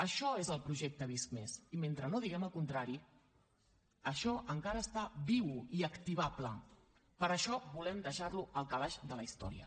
això és el projecte visc+ i mentre no diguem el contrari això encara està viu i activable per això volem deixar lo al calaix de la història